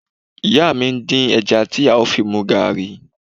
Ìyá mi ń dín ẹja tí a ó fi mu gààrí